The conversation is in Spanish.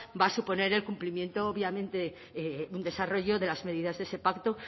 va a suponer el cumplimiento obviamente de un desarrollo de las medidas de ese pacto